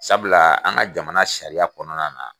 Sabula an ka jamana sariya kɔnɔna na